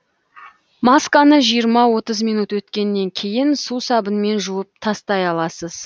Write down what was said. масканы минут өткеннен кейін сусабынмен жуып тастай аласыз